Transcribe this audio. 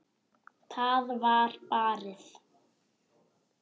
Það var barið.